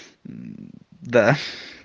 мм да